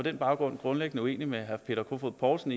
den baggrund grundlæggende uenig med herre peter kofod poulsen